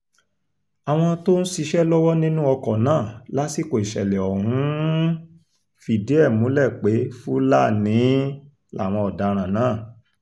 àwọn tó ń ṣiṣẹ́ lọ́wọ́ nínú ọkọ̀ náà lásìkò ìṣẹ̀lẹ̀ ọ̀hún um fìdí ẹ̀ múlẹ̀ pé fúlàní um làwọn ọ̀daràn náà